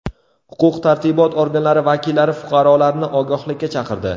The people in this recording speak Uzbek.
Huquq-tartibot organlari vakillari fuqarolarni ogohlikka chaqirdi.